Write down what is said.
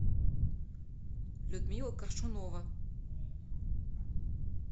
людмила коршунова